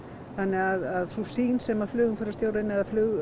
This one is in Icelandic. þannig að sú sýn sem flugumferðarstjórinn eða